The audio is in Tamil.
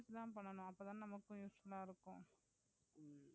sales தான் பண்ணனும். அப்போ தான் நமக்கும் useful ஆஹ் இருக்கும்.